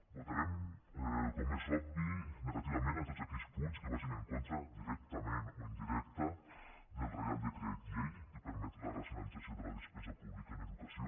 votarem com és obvi negativament a tots aquells punts que vagin en contra directament o indirecta del reial decret llei que permet la racionalització de la despesa pública en educació